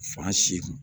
Fan si